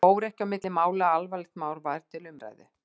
Það fór ekki á milli mála að alvarlegt mál var til umræðu.